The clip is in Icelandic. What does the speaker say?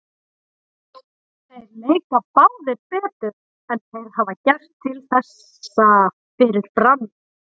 Þeir leika báðir betur en þeir hafa gert til þessa fyrir Brann.